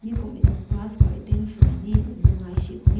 kum ne class mung gai se.